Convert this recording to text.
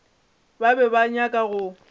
ba be ba nyaka go